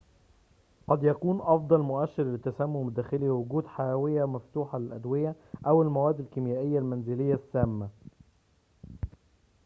قد يكون أفضل مؤشر للتسمم الداخلي وجود حاوية مفتوحة للأدوية أو المواد الكيميائية المنزلية السامة